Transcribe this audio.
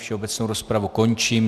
Všeobecnou rozpravu končím.